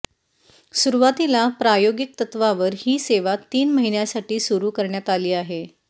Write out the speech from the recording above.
सुरूवातीला प्रायोगिक तत्वावर ही सेवा तीन महिन्यांसाठी सुरू करण्यात आली आहे